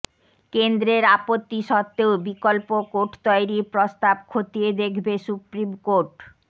কেন্দ্রের আপত্তি সত্ত্বেও বিকল্প কোর্ট তৈরির প্রস্তাব খতিয়ে দেখবে সুপ্রিম কোর্ট